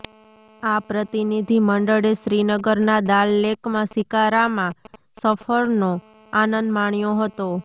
આ પ્રતિનિધિ મંડળે શ્રીનગરના દાલ લેકમાં શિકારામાં સફરનો આનંદ માણ્યો હતો